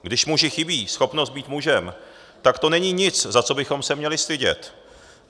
Když muži chybí schopnost být mužem, tak to není nic, za co bychom se měli stydět.